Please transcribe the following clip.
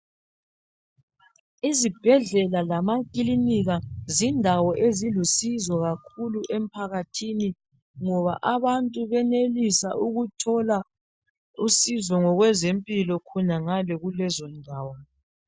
Izibhedlela lamakilinika zindawo ezilusizo kakhulu emphakathini ngoba abantu benelisa ukuthola usizo ngokwezempilo khonangale kulezondawo